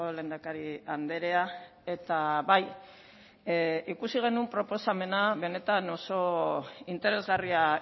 lehendakari andrea eta bai ikusi genuen proposamena benetan oso interesgarria